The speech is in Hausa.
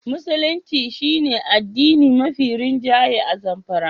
Musulunci shi ne addini mafi rinjaye a Zamfara.